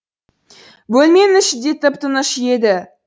бөлменің іші де тып тыныш еді